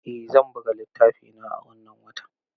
Eh zan buga littafina a wannan watan.